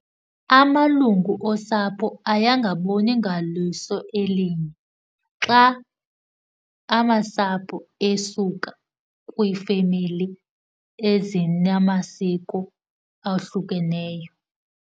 Amalungu osapho aye angaboni ngaliso elinye xa amasapho esuka kwiifemeli ezinamasiko awohlukeneyo.